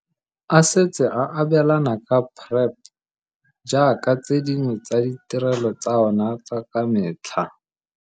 A setse a abelana ka PrEP jaaka tse dingwe tsa ditirelo tsa ona tsa ka metlha.